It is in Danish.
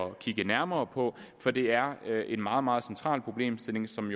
at kigge nærmere på for det er en meget meget central problemstilling som